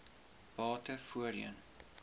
bate voorheen